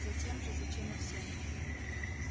затем же зачем и всем